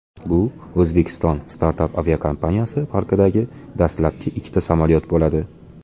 Bu O‘zbekiston startap aviakompaniyasi parkidagi dastlabki ikkita samolyot bo‘ladi.